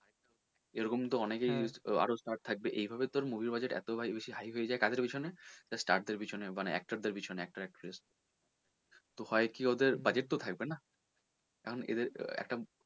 এরকম তো অনেকেই আরও star থাকবে এইভাবে তোর movie র budget এতো বেশি high হয়ে যায় কাদের পেছনে just star দের পেছনে actor actress তো হয় কি ওদের budget তো থাকবে না কারন এদের একটা,